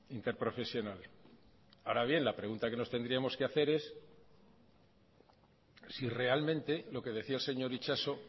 interprofesional ahora bien la pregunta que nos tendríamos que hacer es si realmente lo que decía el señor itxaso